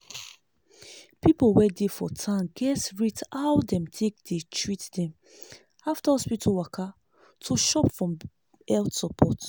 people wey dey for town gats rate how dem take treat dem after hospital waka to chop from health support.